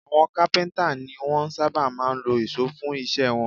Àwọn kápíntà ni wọ́n sábà máa ń lo ìṣó fún iṣẹ́ wọn